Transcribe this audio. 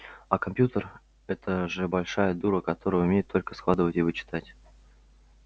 а компьютер это же большая дура которая умеет только складывать и вычитать